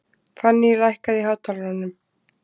Fanný, lækkaðu í hátalaranum.